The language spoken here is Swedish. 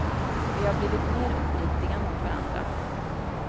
Vi har blivit mer uppriktiga mot varandra.